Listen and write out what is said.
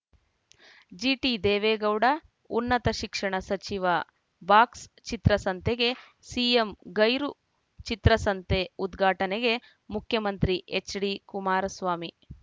ಜಿಟಿದೇವೇಗೌಡ ಉನ್ನತ ಶಿಕ್ಷಣ ಸಚಿವ ಬಾಕ್ಸ್‌ಚಿತ್ರಸಂತೆಗೆ ಸಿಎಂ ಗೈರು ಚಿತ್ರಸಂತೆ ಉದ್ಘಾಟನೆಗೆ ಮುಖ್ಯಮಂತ್ರಿ ಎಚ್‌ಡಿಕುಮಾರಸ್ವಾಮಿ